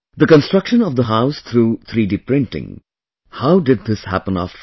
The construction of the house through 3D printing, how did this happen after all